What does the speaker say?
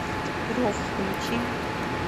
рев включи